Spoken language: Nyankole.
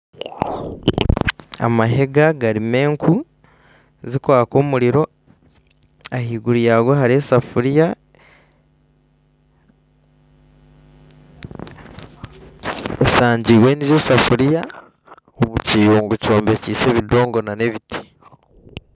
Amahega garimu enku zikwaka omuriro ahaiguru yaago hariyo esefuria bisangiirwe gye esafuria omu kiyungu kyombekise ebidongo n'ebiti